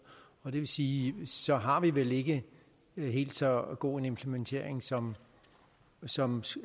og det vil sige så har vi vel ikke helt så god en implementering som som